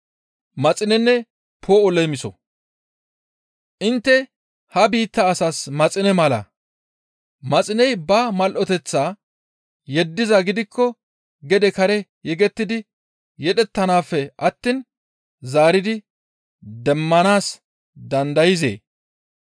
«Intte ha biitta asas maxine mala. Maxiney ba mal7oteththaa yeddizaa gidikko gede kare yegettidi yedheteththafe attiin zaaridi demmanaas dandayzee?